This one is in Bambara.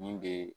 Nin bɛ